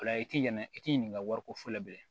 O la i t'i ɲinɛ i t'i ɲininka wari ko fɔlɔ bilen